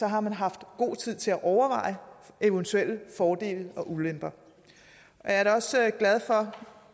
har man haft god tid til at overveje eventuelle fordele og ulemper jeg er da også